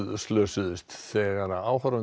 slösuðust þegar